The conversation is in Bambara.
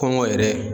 Kɔngɔ yɛrɛ